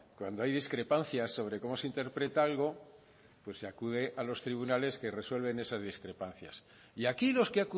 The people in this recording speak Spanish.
cuando hay discrepancias sobre cómo se interpreta algo pues se acude a los tribunales que resuelven esas discrepancias y aquí los que